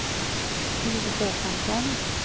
Stig Håkansson